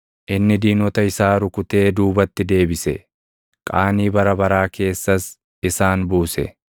Inni diinota isaa rukutee duubatti deebise; qaanii bara baraa keessas isaan buuse.